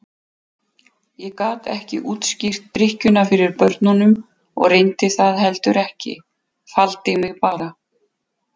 Ég gat ekki útskýrt drykkjuna fyrir börnunum og reyndi það heldur ekki, faldi mig bara.